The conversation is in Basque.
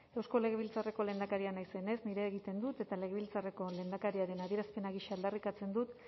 eusko legebiltzarreko lehendakaria naizenez nirea egiten dut eta legebiltzarreko lehendakariaren adierazpena gisa aldarrikatzen dut